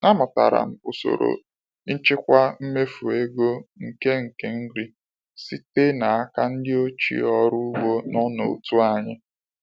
Amụtara m usoro nchịkwa mmefu ego nke nke nri site n'aka ndị ochie ọrụ ugbo nọ n'otu anyị.